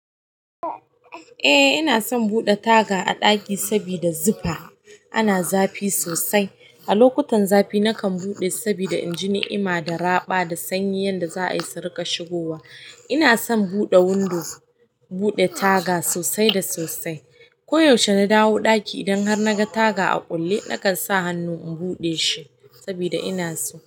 Eh ina son buɗe taga a ɗaki sabida zufa ana zafi sosai. A lokutan zafi nakan buɗe saboda in ji ni'ima da raba da sanyi yanda za a yi su riƙa shigowa. Inason buɗe window, buɗe taga sosai da sosai. Ko yaushe na dawo ɗaki idan har na ga taga a kulle, nakan sa hannu in buɗe shi sabida ina so.